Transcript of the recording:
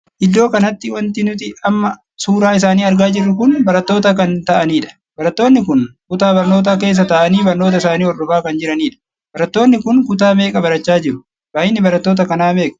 Iddoo kanatti wanti nuti amma suuraa isaanii argaa jirru kun barattoota kan taa'anidha. barattoonni kun kutaa barnootaa keessa taa'anii barnoota isaanii hordofaa kan jiraniidha. barattoonni kun kutaa meeqa barachaa jiru? baay'inni barattoota kanaa meeqa?